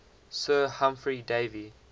sir humphry davy